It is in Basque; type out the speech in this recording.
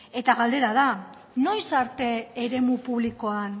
eta galdera da noiz arte eremu publikoan